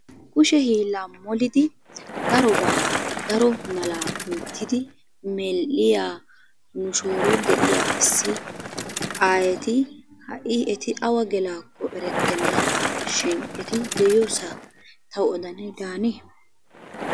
Kushe hiillan molidi darobaa daro malaa oyttidi medhdhiya nu shooron de"iyaa issi aayeti ha"i eti awa gelaakko erettennashin eti de"iyoosaa tawu odanay daanee?